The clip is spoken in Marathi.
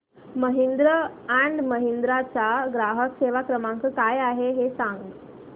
महिंद्रा अँड महिंद्रा चा ग्राहक सेवा क्रमांक काय आहे हे सांगा